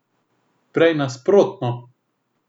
Prej nasprotno.